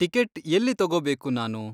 Ticket ಎಲ್ಲಿ ತಗೋಬೇಕು ನಾನು?